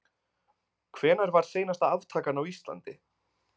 Hvenær var seinasta aftakan á Íslandi?